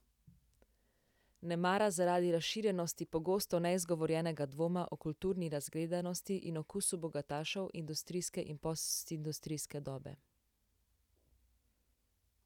Nemara zaradi razširjenosti pogosto neizgovorjenega dvoma o kulturni razgledanosti in okusu bogatašev industrijske in postindustrijske dobe.